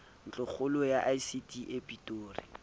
ntlokgolo ya icd e pretoria